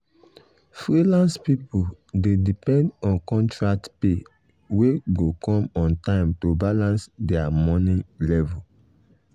freelance people dey depend on contract pay wey go come on time to balance their money level.